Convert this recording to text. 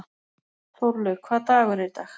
Þórlaug, hvaða dagur er í dag?